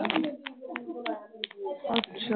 ਅੱਛਾ।